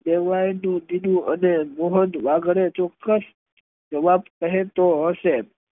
કેહવાય તેવું કીધું અને ચોકસ્શ જવાબ કહે તો હશે